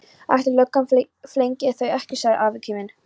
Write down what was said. Ætli löggan flengi þau ekki! sagði afi kíminn.